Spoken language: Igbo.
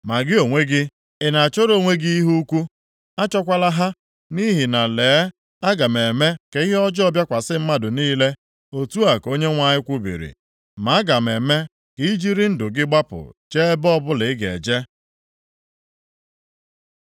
Ma gị onwe gị, ị na-achọrọ onwe gị ihe ukwu? Achọkwala ha. Nʼihi na, lee, aga m eme ka ihe ọjọọ bịakwasị mmadụ niile, otu a ka Onyenwe anyị kwubiri, ma aga m eme ka ị jiri ndụ gị gbapụ jee ebe ọbụla ị ga-eje. + 45:5 Ị ga-agbapụ na ndụ ga nʼebe ọbụla ị ga-agbaga’ ”